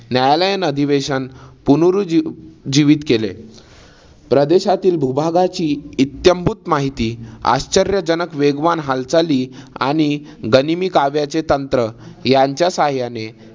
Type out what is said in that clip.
न्यायालयीन अधिवेशन पुनरु जीव जीवित केले. प्रदेशातील भूभागाची इत्ताम्भूत माहिती आश्चर्यजनक वेगवान हालचाली आणि गनिमिकाव्याचे तंत्र यांच्या सहाय्याने